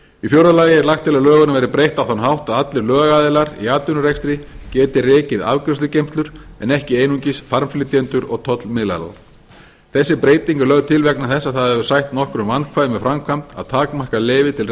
í fjórða lagi er lagt til að lögunum verði breytt á þann hátt að allir lögaðilar í atvinnurekstri geti rekið afgreiðslugeymslur en ekki einungis farmflytjendur og tollmiðlara þessi breyting er lögð til vegna þess að það hefur sætt nokkrum vandkvæðum með framkvæmd að takmarka leyfi til